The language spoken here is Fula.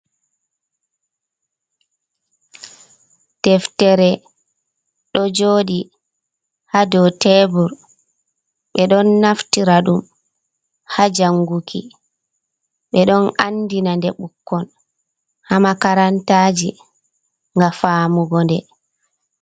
Deftere ɗo joɗi ha dow tebur. Ɓeɗon naftira ɗum haa janguki, ɓeɗon andina nde ɓukkon haa makarantaji ga famugo nde.